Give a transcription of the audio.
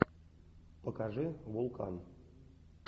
покажи вулкан